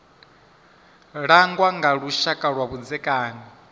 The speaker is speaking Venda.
langwa nga lushaka lwa vhudzekani